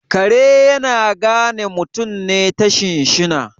kare yana gane mutane ta shinshina